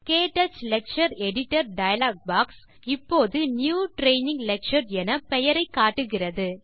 க்டச் lecture editor dialog box இப்போது new training lecture என பெயரை காட்டுகிறது